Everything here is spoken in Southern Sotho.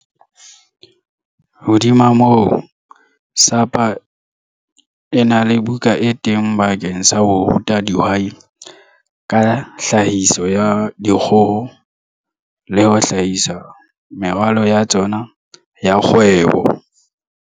Hodima moo, SAPA e na le buka e teng bakeng sa ho ruta dihwai ka tlhahiso ya dikgoho le ho hlahisa meralo ya tsona ya kgwebo.